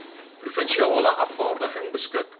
provinsiale afvaarding beskik